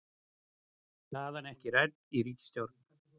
Staðan ekki rædd í ríkisstjórn